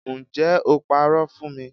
Ǹjẹ́ o parọ́ fún mi